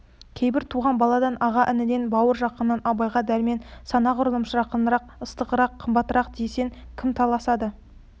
кейбір туған баладан аға-ініден бауыр-жақыннан абайға дәрмен сонағұрлым жақынырақ ыстығырақ қымбаттырақ десе кім таласады